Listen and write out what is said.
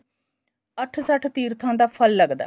ਅੱਠ ਸੱਠ ਤੀਰਥਾ ਦਾ ਫੱਲ ਲੱਗਦਾ